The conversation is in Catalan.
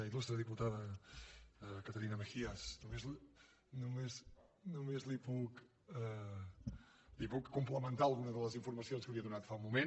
il·lustre diputada caterina mejías només li puc complementar algunes de les informacions que li he donat fa un moment